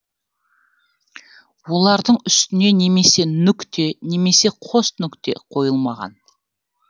олардың үстіне немесе нүкте немесе қос нүкте қойылмаған